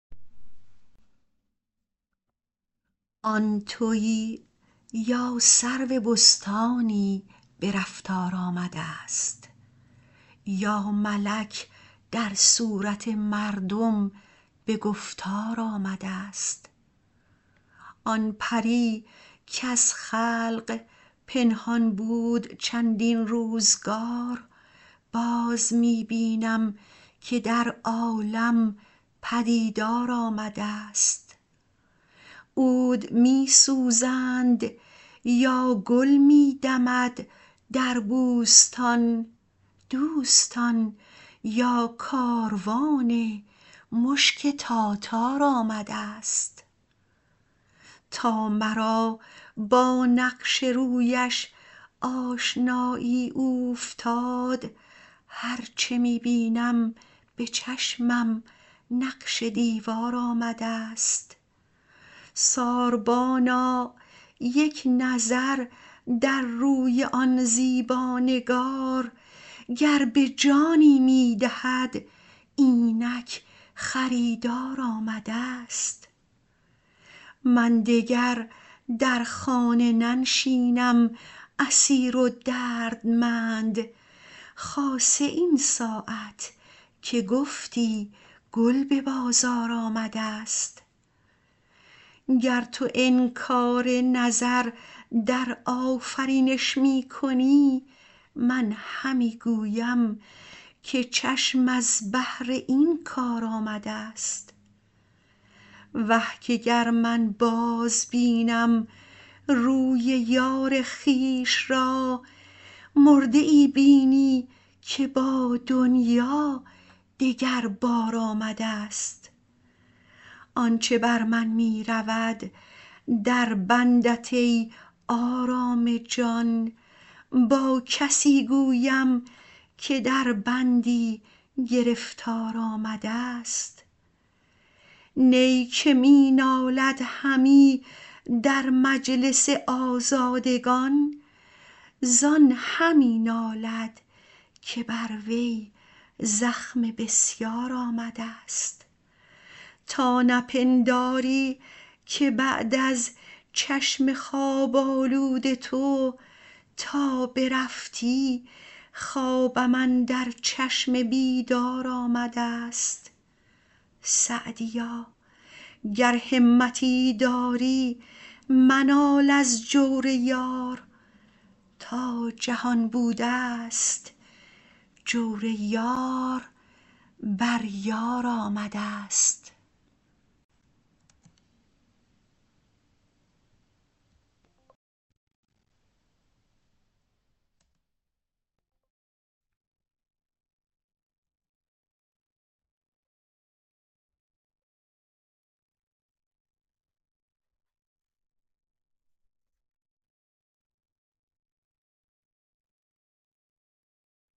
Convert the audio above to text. آن تویی یا سرو بستانی به رفتار آمده ست یا ملک در صورت مردم به گفتار آمده ست آن پری کز خلق پنهان بود چندین روزگار باز می بینم که در عالم پدیدار آمده ست عود می سوزند یا گل می دمد در بوستان دوستان یا کاروان مشک تاتار آمده ست تا مرا با نقش رویش آشنایی اوفتاد هر چه می بینم به چشمم نقش دیوار آمده ست ساربانا یک نظر در روی آن زیبا نگار گر به جانی می دهد اینک خریدار آمده ست من دگر در خانه ننشینم اسیر و دردمند خاصه این ساعت که گفتی گل به بازار آمده ست گر تو انکار نظر در آفرینش می کنی من همی گویم که چشم از بهر این کار آمده ست وه که گر من بازبینم روی یار خویش را مرده ای بینی که با دنیا دگر بار آمده ست آن چه بر من می رود در بندت ای آرام جان با کسی گویم که در بندی گرفتار آمده ست نی که می نالد همی در مجلس آزادگان زان همی نالد که بر وی زخم بسیار آمده ست تا نپنداری که بعد از چشم خواب آلود تو تا برفتی خوابم اندر چشم بیدار آمده ست سعدیا گر همتی داری منال از جور یار تا جهان بوده ست جور یار بر یار آمده ست